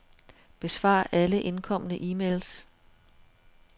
Besvar alle indkomne e-mails.